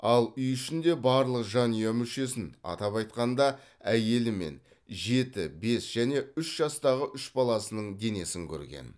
ал үй ішінде барлық жанұя мүшесін атап айтқанда әйелі мен жеті бес және үш жастағы үш баласының денесін көрген